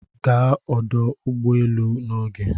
Gaa ọdụ ụgbọ elu n'oge